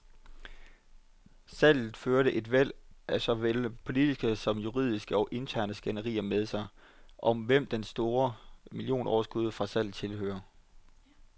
Salget førte et væld af såvel politiske som juridiske og interne skænderier med sig, om hvem det store millionoverskud fra salget tilhører.